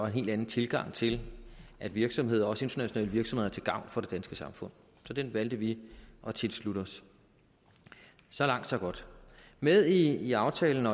helt anden tilgang til at virksomheder også internationale virksomheder er til gavn for det danske samfund så den valgte vi at tilslutte os så langt så godt med i aftalen